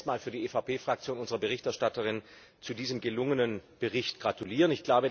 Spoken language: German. Ich möchte zunächst einmal für die EVP Fraktion unserer Berichterstatterin zu diesem gelungenen Bericht gratulieren.